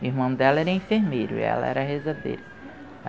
E o irmão dela era enfermeiro e ela era rezadeira.